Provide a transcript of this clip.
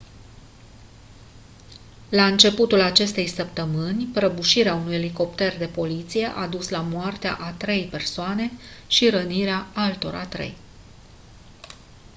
la începutul acestei săptămâni prăbușirea unui elicopter de poliție a dus la moartea a trei persoane și rănirea altora trei